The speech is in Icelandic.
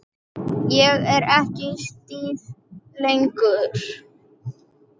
Ég er ekki stíf lengur.